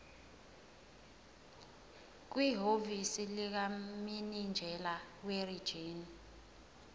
kwihhovisi likamininjela werijini